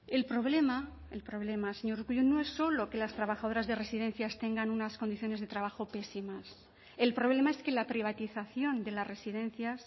el problema el problema señor urkullu no es solo que las trabajadoras de residencias tengan unas condiciones de trabajo pésimas el problema es que la privatización de las residencias